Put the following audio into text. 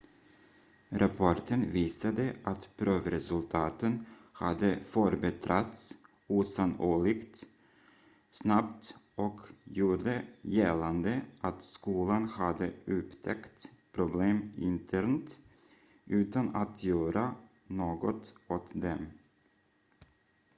rapporten visade att provresultaten hade förbättrats osannolikt snabbt och gjorde gällande att skolan hade upptäckt problem internt utan att göra något åt dem